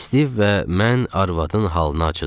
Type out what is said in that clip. Stiv və mən arvadın halına acıdıq.